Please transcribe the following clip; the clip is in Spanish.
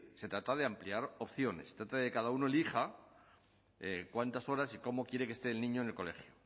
se trata de ampliar opciones se trata de que cada uno elija cuántas horas y cómo quiere que esté el niño en el colegio